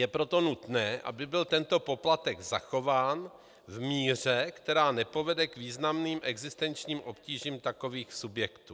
Je proto nutné, aby byl tento poplatek zachován v míře, která nepovede k významným existenčním obtížím takových subjektů.